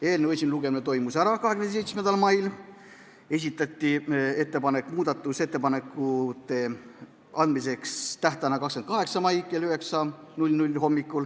Eelnõu esimene lugemine toimus 27. mail, siis tehti ettepanek määrata muudatusettepanekute esitamise tähtajaks 28. mai kell 9.